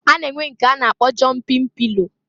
A na-enwe nke a na-akpọ jọmpin pilo.